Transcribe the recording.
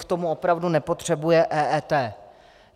K tomu opravdu nepotřebuje EET.